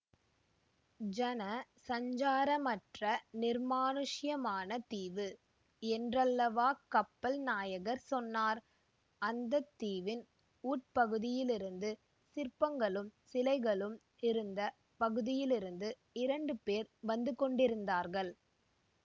ஜன சஞ்சாரமற்ற நிர்மானுஷ்யமான தீவு என்றல்லவா கப்பல் நாயகர் சொன்னார் அந்த தீவின் உட்பகுதியிலிருந்து சிற்பங்களும் சிலைகளும் இருந்த பகுதியிலிருந்து இரண்டு பேர் வந்து கொண்டிருந்தார்கள்